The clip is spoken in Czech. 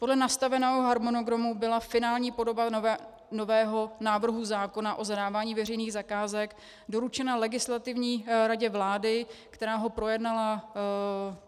Podle nastaveného harmonogramu byla finální podoba nového návrhu zákona o zadávání veřejných zakázek doručena Legislativní radě vlády, která ho projednala.